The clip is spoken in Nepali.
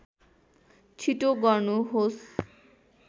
छिटो गर्नुहोस्